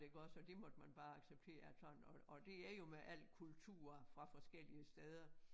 Iggås og det måtte man bare acceptere at sådan og og det er jo med al kultur fra forskellige steder